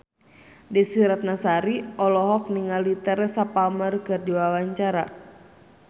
Desy Ratnasari olohok ningali Teresa Palmer keur diwawancara